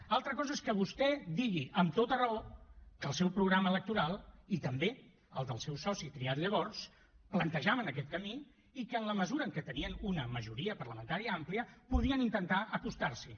altra cosa és que vostè digui amb tota raó que el seu programa electoral i també el del seu soci triat llavors plantejaven aquest camí i que en la mesura en què tenien una majoria parlamentària àmplia podien intentar acostar s’hi